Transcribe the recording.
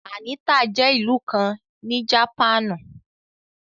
Anita jẹ́ ìlú kàn ní Japanu